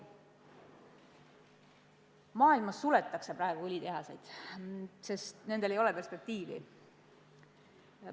Mujal maailmas praegu suletakse õlitehaseid, sest nendel ei ole perspektiivi.